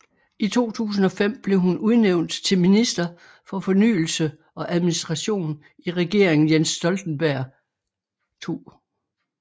I 2005 blev hun udnævnt til Minister for Fornyelse og Administration i Regeringen Jens Stoltenberg II